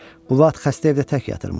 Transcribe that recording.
Bu vaxt xəstə evdə tək yatırmış.